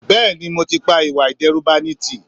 Bẹ́ẹ̀ni mo ti pa ìwà ìdẹ́rùbani tí